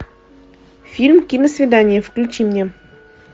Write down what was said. фильм киносвидание включи мне